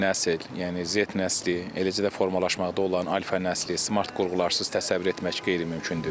İndiki nəsil, yəni Z nəsli, eləcə də formalaşmaqda olan alfa nəsli smart qurğularsız təsəvvür etmək qeyri-mümkündür.